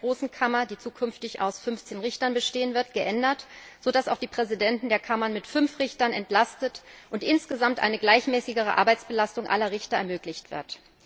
der Großen Kammer, die zukünftig aus 15 Richtern bestehen wird, geändert, sodass auch die Präsidenten der Kammern mit fünf Richtern entlastet werden und insgesamt eine gleichmäßigere Arbeitsbelastung aller Richter ermöglicht wird.